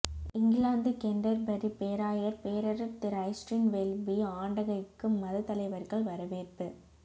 England Canterbury பேராயர் பேரருட்திரு Justin Welby ஆண்டகைக்கு மத தலைவர்கள் வரவேற்பு